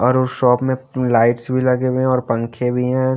और उस शॉप में लाइट्स भी लगे हुए हैं और पंखे भी हैं।